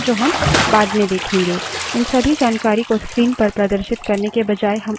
1s को कई options के साथ इस्तेमाल कर सकते हैं जो हम बाद में देखेंगे